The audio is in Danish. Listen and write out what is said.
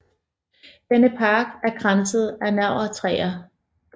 Denne park er kranset af navrtræer